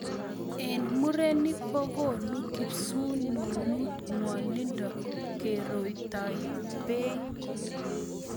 E ng murenik kokonu kipsununut ngwonindo keretoi bei